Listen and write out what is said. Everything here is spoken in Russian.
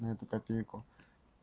на эту копейку